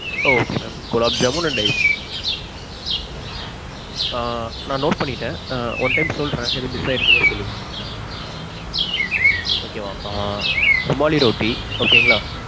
okay mam gulab jamun and ice cream. ஆ நான் note பண்ணிக்கிட்டேன். one time சொல்றேன் ஏதும் miss ஆயிருந்துச்சுனா சொல்லுங்க. okay mam. ஆஹ் ருமாலி ரொட்டி okay ங்களா?